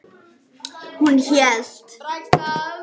Hún hélt.